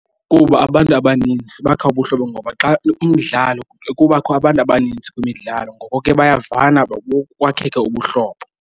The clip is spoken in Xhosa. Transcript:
Kuba abantu abaninzi bakha ubuhlobo ngoba xa umdlalo kubakho abantu abaninzi kwimidlalo ngoko ke bayavana bokwakheke ubuhlobo.